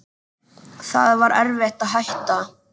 Það var erfitt að hætta.